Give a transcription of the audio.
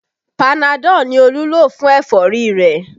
Panadọ ni Olú lo fún ẹ̀fọ́rí rẹ̀